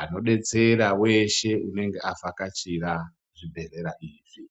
Anobetsera veshe unonga avhakachira zvibhedhlera izvi.